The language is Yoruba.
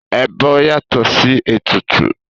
Ẹbọ yàtọ̀ sí ètùtù.